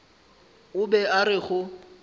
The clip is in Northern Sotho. o be a re go